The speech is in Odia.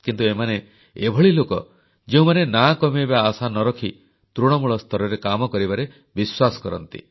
କିନ୍ତୁ ଏମାନେ ଏଭଳି ଲୋକ ଯେଉଁମାନେ ନାଁ କମେଇବା ଆଶା ନ ରଖି ତୃଣମୂଳ ସ୍ତରରେ କାମ କରିବାରେ ବିଶ୍ୱାସ କରନ୍ତି